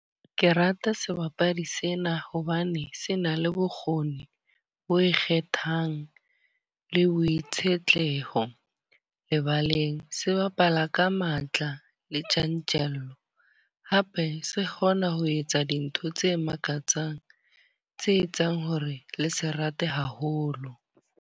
Ke rata sebapadi sena hobane se na le bokgoni bo ikgethang le boitshetleho lebaleng. Se bapala ka matla le tjantjello. Hape se kgona ho etsa dintho tse makatsang, tse etsang hore le se rate haholo.